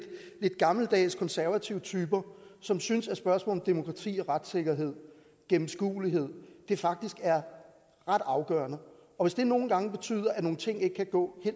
gammeldags konservative typer som synes at spørgsmål om demokrati og retssikkerhed og gennemskuelighed faktisk er ret afgørende og hvis det nogle gange betyder at nogle ting ikke kan gå